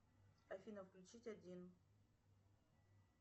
афина включить один